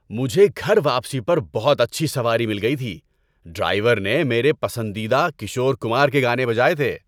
مجھے گھر واپسی پر بہت اچھی سواری مل گئی تھی۔ ڈرائیور نے میرے پسندیدہ کشور کمار کے گانے بجائے تھے۔